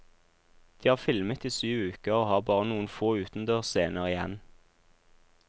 De har filmet i syv uker, og har bare noen få utendørsscener igjen.